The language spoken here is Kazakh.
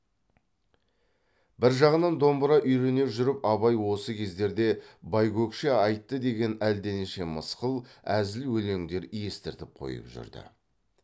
бір жағынан домбыра үйрене жүріп абай осы кездерде байкөкше айтты деген әлденеше мысқыл әзіл өлеңдер естіртіп қойып жүрді